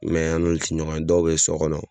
Mɛ an n'olu te ɲɔgɔn ye dɔw be sɔ gɔnɔ